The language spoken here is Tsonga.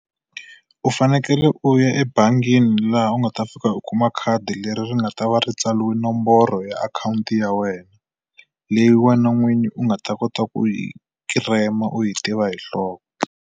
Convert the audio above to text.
U fanekele u ya ebangini laha u nga ta fika u kuma khadi leri ri nga ta va ri tsariwe nomboro ya akhawunti ya wena, leyi wena n'winyi u nga ta kota ku yi kirema u yi tiva hi nhloko.